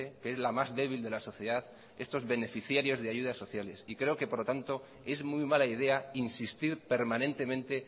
que es la más débil de la sociedad estos beneficiarios de ayudas sociales creo que por lo tanto es muy mala idea insistir permanentemente